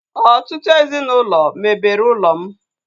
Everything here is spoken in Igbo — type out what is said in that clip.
Ọtụtụ ezinaụlọ mebere ụlọ m